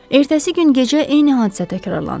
Ertəsi gün gecə eyni hadisə təkrarlanırdı.